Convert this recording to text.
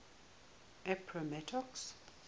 appomattox